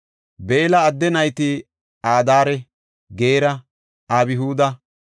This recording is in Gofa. Beella adde nayti Adaare, Geera, Abhuuda,